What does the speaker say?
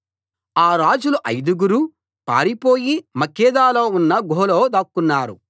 ఆ రాజులు ఐదు గురూ పారిపోయి మక్కేదాలో ఉన్న గుహలో దాక్కున్నారు